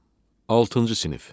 Altıncı sinif.